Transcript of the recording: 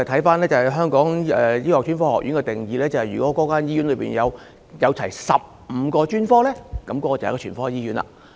根據香港醫學專科學院的定義，如一間醫院設有全部15個專科，便屬於全科醫院。